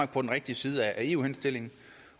på den rigtige side af eu henstillingen